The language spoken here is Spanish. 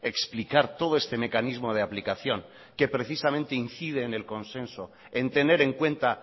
explicar todo este mecanismo de aplicación que precisamente incide en el consenso en tener en cuenta